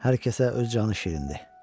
Hər kəsə öz canı şirindir.